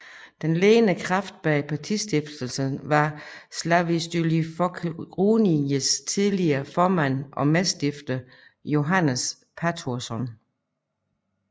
Den ledende kraft bag partistiftelsen var Sjálvstýrisflokkurins tidligere formand og medstifter Jóannes Patursson